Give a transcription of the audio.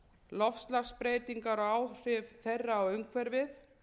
loftslagsbreytingar og áhrif þeirra á umhverfið